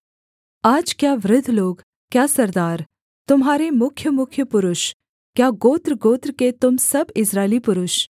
आज क्या वृद्ध लोग क्या सरदार तुम्हारे मुख्यमुख्य पुरुष क्या गोत्रगोत्र के तुम सब इस्राएली पुरुष